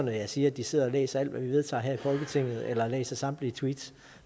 jeg siger at de sidder og læser alt hvad vi vedtager her i folketinget eller læser samtlige tweets